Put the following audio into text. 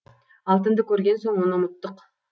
алтынды көрген соң оны ұмыттық